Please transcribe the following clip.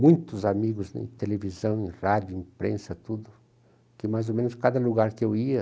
muitos amigos em televisão, em rádio, em imprensa, tudo, que mais ou menos em cada lugar que eu ia,